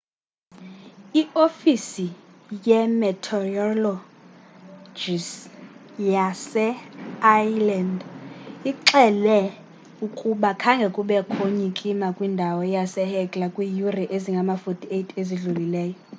iofisi ye-meteorologyyase iceland ixele ukuba khange kubekho nyikima kwindawo yasehekla kwiiyure ezingama-48 ezidlulileyo